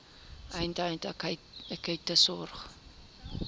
eenheid akute sorg